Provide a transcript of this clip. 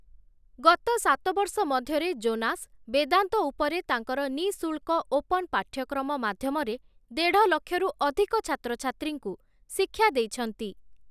ଗତ ସାତବର୍ଷ ମଧ୍ୟରେ ଜୋନାସ୍, ବେଦାନ୍ତ ଉପରେ ତାଙ୍କର ନିଃଶୁଳ୍କ ଓପନ୍ ପାଠ୍ୟକ୍ରମ ମାଧ୍ୟମରେ ଦେଢ଼ଲକ୍ଷରୁ ଅଧିକ ଛାତ୍ରଛାତ୍ରୀଙ୍କୁ ଶିକ୍ଷା ଦେଇଛନ୍ତି ।